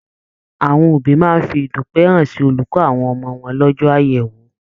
Àwọn òbí máa fi idupẹ hàn sí olùkọ àwọn ọmọ wọn lọjọ àyẹwò.